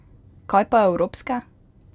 Kaj pa evropske?